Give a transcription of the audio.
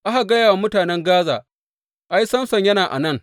Aka gaya wa mutanen Gaza, Ai, Samson yana a nan!